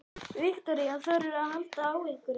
Viktoría: Þorðirðu að halda á einhverjum?